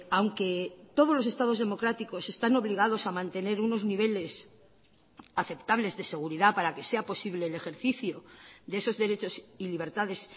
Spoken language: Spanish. aunque todos los estados democráticos están obligados a mantener unos niveles aceptables de seguridad para que sea posible el ejercicio de esos derechos y libertades